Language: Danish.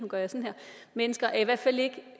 mennesker er